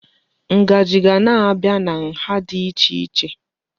Ngaji ga na-abịa na nha dị iche iche.